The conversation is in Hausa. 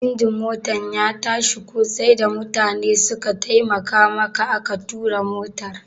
Injin Motan ya tashi ko sai da mutane suka taimaka maka aka tura motar?